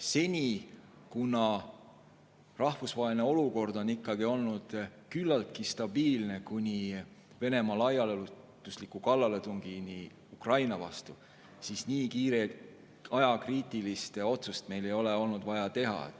Seni, kuna rahvusvaheline olukord oli kuni Venemaa laiaulatusliku kallaletungini Ukrainale ikkagi küllaltki stabiilne, ei ole nii kiiret ajakriitilist otsust meil olnud vaja teha.